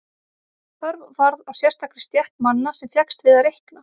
Þörf varð á sérstakri stétt manna sem fékkst við að reikna.